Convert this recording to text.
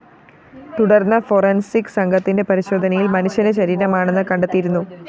തുടര്‍ന്ന് ഫോറൻസിക്‌ സംഘത്തിന്റെ പരിശോധനയില്‍ മനുഷ്യന്റെ ശരീരമാണെന്ന് കണ്ടെത്തിയിരുന്നു